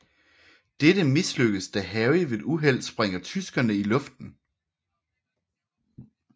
Dette mislykkes da Harry ved et uheld sprænger tyskerne i luften